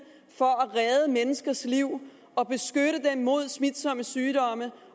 for at redde menneskers liv og beskytte dem mod smitsomme sygdomme